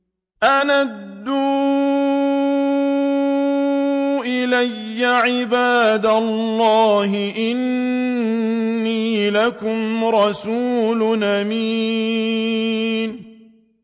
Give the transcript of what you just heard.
أَنْ أَدُّوا إِلَيَّ عِبَادَ اللَّهِ ۖ إِنِّي لَكُمْ رَسُولٌ أَمِينٌ